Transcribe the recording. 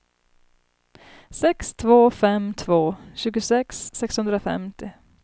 sex två fem två tjugosex sexhundrafemtio